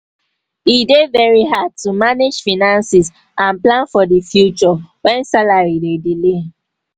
e dey very hard to manage finances and plan for di future when salary dey delay.